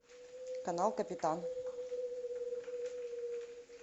канал капитан